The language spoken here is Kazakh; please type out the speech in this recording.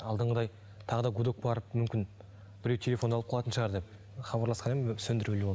алдыңғыдай тағы да гудок барып мүмкін біреу телефонды алып қалатын шығар деп хабарласқан едім сөндірулі болды